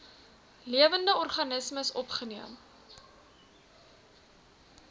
lewende organismes opgeneem